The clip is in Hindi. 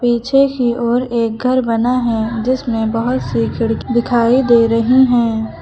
पीछे की ओर एक घर बना है जिसमें बहोत सी खिड़की दिखाई दे रही हैं।